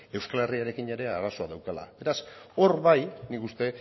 euskal herriarekin ere arazoa daukala beraz hor bai nik uste